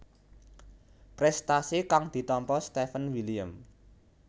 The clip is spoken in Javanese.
Prestasi kang ditampa Steven William